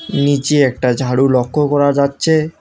নীচে একটা ঝাড়ু লক্ষ্য করা যাচ্ছে।